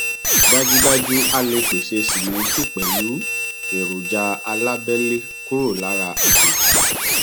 dájúdájú a lè pèsè símẹǹtì pẹlú èròjà alábẹlé kúrò lára àjèjì